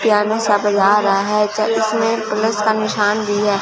Piano सा बज रहा है इसमें प्लस का निशान भी है।